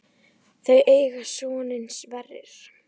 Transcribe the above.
Þau eiga soninn Sverri.